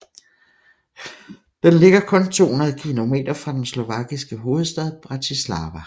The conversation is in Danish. Den ligger kun 200 kilometer fra den slovakiske hovedstad Bratislava